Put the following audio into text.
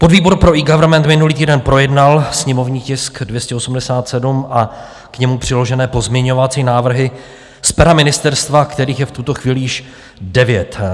Podvýbor pro eGovernment minulý týden projednal sněmovní tisk 287 a k němu přiložené pozměňovací návrhy z pera ministerstva, kterých je v tuto chvíli již devět.